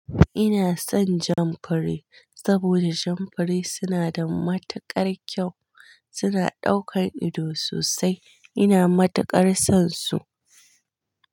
Ina son Jamfure saboda Jamfure suna da matukar kyau. Suna ɗaukan ido sosai. Ina matukar son su.